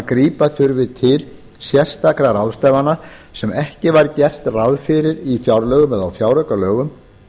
grípa þurfi til sérstakra ráðstafana sem ekki var gert ráð fyrir í fjárlögum eða fjáraukalögum